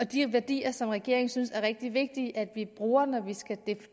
de værdier som regeringen synes er rigtig vigtige at vi bruger når vi skal